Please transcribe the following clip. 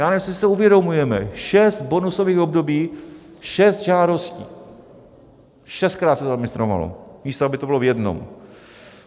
Já nevím, jestli si to uvědomujeme: šest bonusových období, šest žádostí, šestkrát se to zadministrovalo, místo aby to bylo v jednom.